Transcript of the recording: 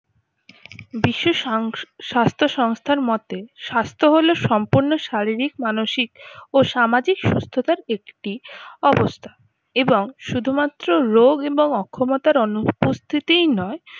বিশ্ব সংস স্বাস্থ্য সংস্থার মতে স্বাস্থ্য হলো সম্পূর্ণ শারীরিক মানসিক ও সামাজিক সুস্থতার একটি অবস্থা এবং শুধুমাত্র রোগ এবং অক্ষমতার অনুপস্থিতিই নয়